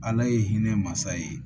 Ala ye hinɛ mansa ye